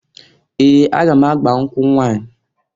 Ee! Aga m agba nkwụ nwanyị.